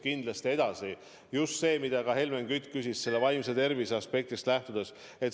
See on oluline ka sellest aspktist, mille kohta Helmen Kütt küsis: vaimse tervise aspektist.